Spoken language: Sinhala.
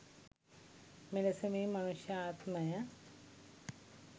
මෙලෙස මේ මනුෂ්‍ය ආත්මය